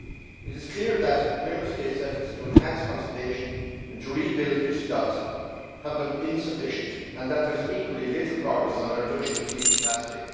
It is clear that Member States' efforts to enhance conservation and to rebuild fish stocks have been insufficient and that there is equally little progress on the reduction of fleet capacity.